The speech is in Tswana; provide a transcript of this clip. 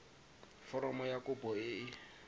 foromo ya kopo e e